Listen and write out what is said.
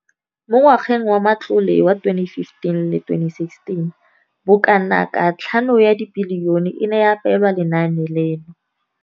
Mo ngwageng wa matlole wa 2015,16, bokanaka R5 703 bilione e ne ya abelwa lenaane leno.